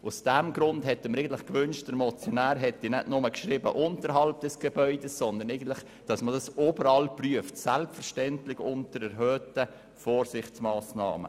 Aus diesem Grund hätten wir uns gewünscht, der Motionär hätte nicht nur «unterhalb des Gebäudes» geschrieben, sondern verlangt, dass die Prüfung überall erfolgt, und dies selbstverständlich unter erhöhten Vorsichtsmassnehmen.